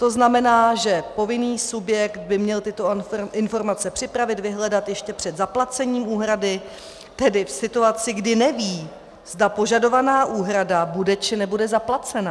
To znamená, že povinný subjekt by měl tyto informace připravit, vyhledat ještě před zaplacením úhrady, tedy v situaci, kdy neví, zda požadovaná úhrada bude, či nebude zaplacena.